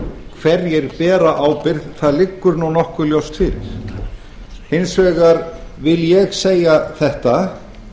hverjir bera ábyrgð það liggur nokkuð ljóst fyrir hins vegar vil ég segja þetta